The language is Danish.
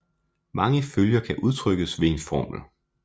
Mange følger kan udtrykkes ved en formel